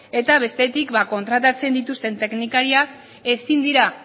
eta bestetik kontratatzen dituzten teknikariak ezin dira